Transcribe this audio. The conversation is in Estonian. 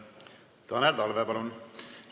Tanel Talve, palun!